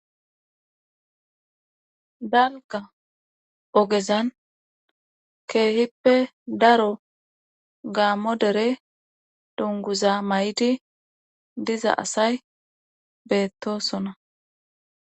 Dalga ogezan keehippe daro gaammo dere donguza may7di diza asay beettosona